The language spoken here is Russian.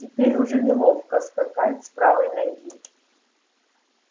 теперь уже неловко скакать с правой ноги